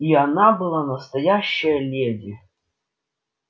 и она была настоящая леди